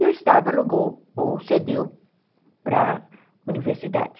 E o Estado alugou ou cedeu para a universidade.